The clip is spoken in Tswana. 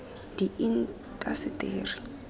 diintaseteri